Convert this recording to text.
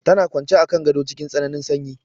Tana kwance a kan gado cikin tsananin sanyi.